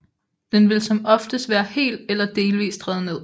Den vil som oftest være helt eller delvist revet ned